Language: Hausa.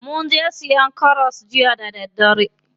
Munje siyan karas jiya ya ƙare.